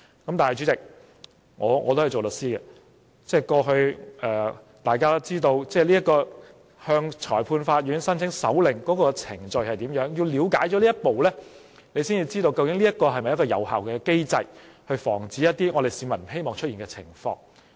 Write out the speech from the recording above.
然而，主席，我也是一位律師，大家均知道向裁判法院申請搜查令有甚麼程序，要了解這程序，才可知道這是否一個有效機制，防止出現一些市民不希望看到的情況。